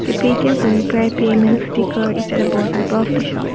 a paytm for upi payment sticker is the bottom of the shop.